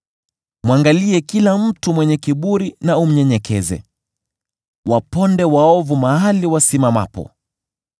mwangalie kila mtu mwenye kiburi na umnyenyekeze, waponde waovu mahali wasimamapo.